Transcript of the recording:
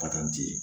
Patɔrɔn ti